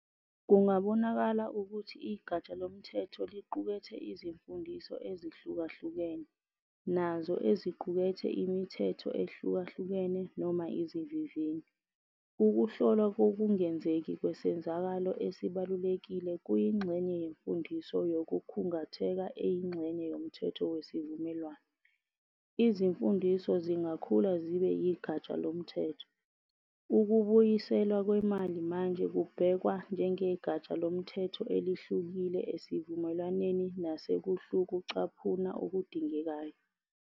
Kungabonakala ukuthi igatsha lomthetho liqukethe izimfundiso ezahlukahlukene, nazo eziqukethe "imithetho" ehlukahlukene noma "izivivinyo". Ukuhlolwa kokungenzeki kwesenzakalo esibalulekile kuyingxenye yemfundiso yokukhungatheka eyingxenye yomthetho wesivumelwano. Izimfundiso zingakhula zibe igatsha lomthetho, ukubuyiselwa kwemali manje kubhekwa njengegatsha lomthetho elihlukile esivumelwaneni nasekuhlukucaphuna okudingekayo.